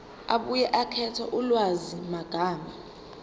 abuye akhethe ulwazimagama